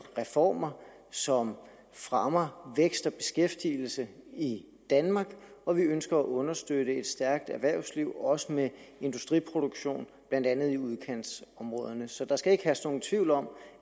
reformer som fremmer vækst og beskæftigelse i danmark og vi ønsker at understøtte et stærkt erhvervsliv også med industriproduktion blandt andet i udkantsområderne så der skal ikke herske nogen tvivl om